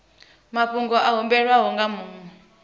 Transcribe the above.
mafhungo a humbelwaho nga muṅwe